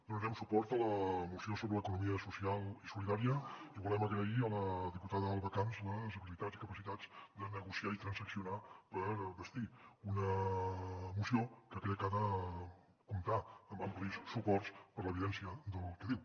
donarem suport a la moció sobre l’economia social i solidària i volem agrair a la diputada alba camps les habilitats i capacitats de negociar i transaccionar per bastir una moció que crec ha de comptar amb amplis suports per l’evidència del que diu